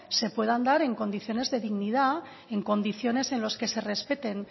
se puedan dar en condiciones de dignidad en condiciones en los que se respeten